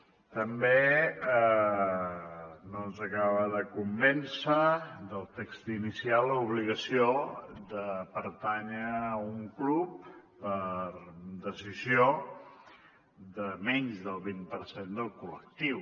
tampoc no ens acaba de convèncer del text inicial l’obligació de pertànyer a un club per decisió de menys del vint per cent del col·lectiu